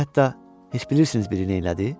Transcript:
Və hətta, heç bilirsiniz biri neylədi?